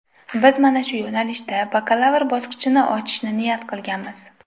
Biz mana shu yo‘nalishda bakalavr bosqichini ochishni niyat qilganmiz.